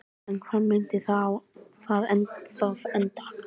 En hvar myndi það þá enda?